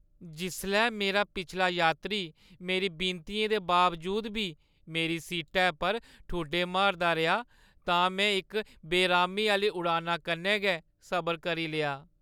जिसलै मेरा पिछला यात्री मेरी विनतियें दे बावजूद बी मेरी सीटै पर ठुड्डे मारदा रेहा तां में इक बेरामी आह्‌ली उड़ाना कन्नै गै सबर करी लेआ।